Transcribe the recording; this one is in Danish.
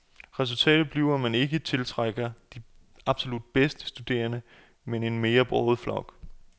Resultatet bliver, at man ikke tiltrækker de absolut bedste studerende, men en mere broget flok.